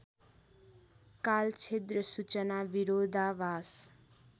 कालछिद्र सूचना विरोधाभास